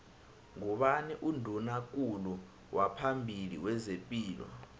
ngubani unduna kulu waphambili wezepilo